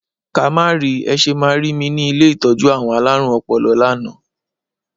Ká má ri! Ẹ ṣe máa rí mi ni ilé ìtọ́jú àwọn alárùn ọpọlọ lánàá.